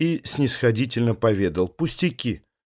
и снисходительно поведал пустяки